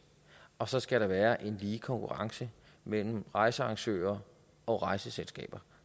og så skal der være en lige konkurrence mellem rejsearrangører og rejseselskaber